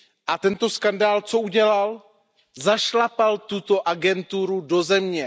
A tento skandál co udělal? Zašlapal tuto agenturu do země.